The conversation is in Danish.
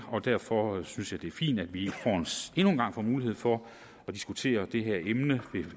og derfor synes jeg det er fint at vi endnu en gang får mulighed for at diskutere det her emne